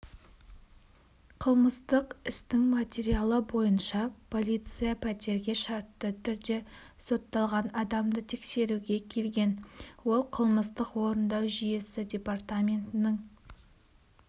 қылмыстық істің материалы бойынша полиция пәтерге шартты түрде сотталған адамды тексеруге келген ол қылмыстық-орындау жүйесі департаментінің